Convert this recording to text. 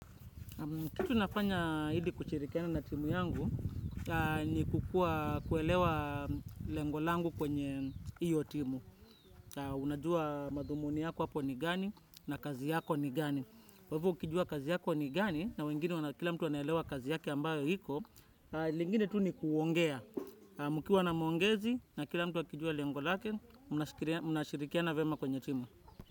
Kitu nafanya ili kuchirikiana na timu yangu, ni kukuwa kuelewa lengo langu kwenye iyo timu. Unajua madhumuni yako hapo ni gani na kazi yako ni gani. Kwa hivo ukijua kazi yako ni gani na wengine kila mtu anaelewa kazi yake ambayo iko, lingine tu ni kuongea. Mkiwa na maongezi na kila mtu akijua lengo lake mnashirikiana vyema kwenye timu.